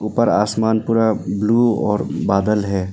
ऊपर आसमान पूरा ब्लू और बदला है।